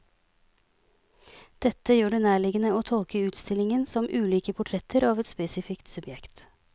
Dette gjør det nærliggende å tolke utstillingen som ulike portretter av et spesifikt subjekt.